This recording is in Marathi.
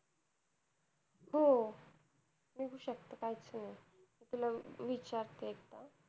हो निघू शकत काहीच नाही तिला विचारते एकदा